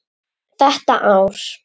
Þetta ár.